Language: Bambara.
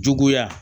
Juguya